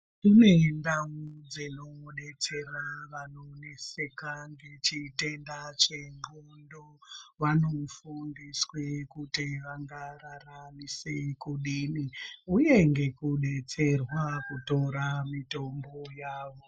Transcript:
Kune ndau dsinodetsera vanoneseka ngechitenda chendxondo vanofundiswe kute ngavararamise kudini uye ngekudetserwa pakutora mitombo yavo.